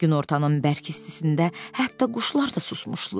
Günortanın bərk istisində hətta quşlar da susmuşdular.